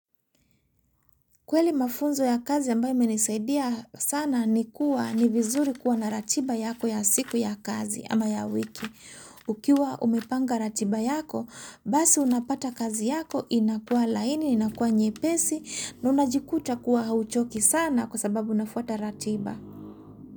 Kweli mafunzo ya kazi ambaye menisaidia sana ni kuwa ni vizuri kuwa na ratiba yako ya siku ya kazi ama ya wiki. Ukiwa umepanga ratiba yako, basi unapata kazi yako inakua laini, inakua nyepesi na unajikuta kuwa hauchoki sana kwa sababu unafuata ratiba.